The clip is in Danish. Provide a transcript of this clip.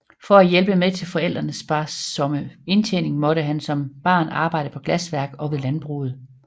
For at hjælpe med til forældrenes sparsomme indtjening måtte han som barn arbejde på glasværk og ved landbruget